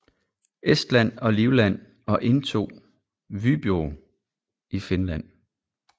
Estland og Livland og indtog Vyborg i Finland